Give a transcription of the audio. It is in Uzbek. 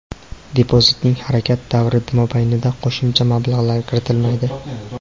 Depozitning harakat davri mobaynida qo‘shimcha mablag‘lar kiritilmaydi.